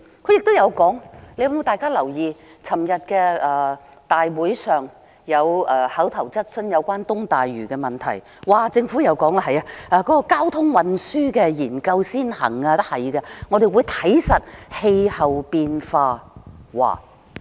不知大家有否留意，昨天立法會有一項有關東大嶼的口頭質詢，政府回答說交通運輸研究先行，他們會監察氣候變化。